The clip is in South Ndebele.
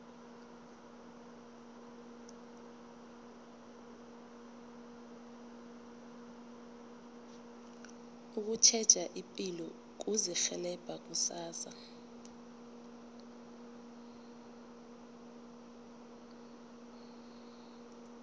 ukutjheja ipilo kuzirhelebha kusasa